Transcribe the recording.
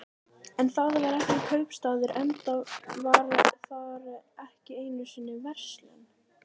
En þar var ekki kaupstaður, enda var þar ekki einu sinni verslun.